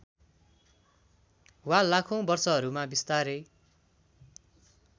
वा लाखौँ वर्षहरूमा बिस्तारै